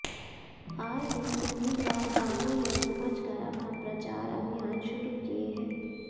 आए दिन उम्मीदवार गांवों में पहुंच कर अपना प्रचार अभियान शुरू किए हैं